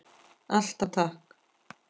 Alltaf takk.